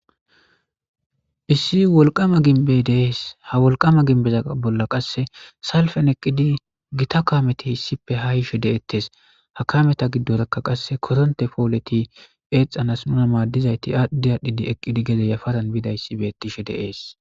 issi wolqama ginbe deees ha wolqama ginbeza bolla qasse salfen eqqidi gita kaameti hissippe ha ishe de7ettes ha kameta giddorekka qasse koronte pooleti eexxanas nuna maaddizayti aaddi aadhdhidi eqqidi geze yafadan bidayssi bettishe deees